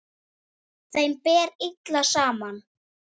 Þeim ber illa saman.